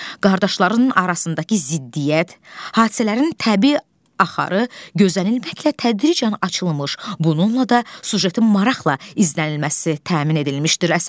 Qardaşlarının arasındakı ziddiyyət, hadisələrin təbii axarı, gözənilməklə tədricən açılmış, bununla da süjetin maraqla izlənilməsi təmin edilmişdir.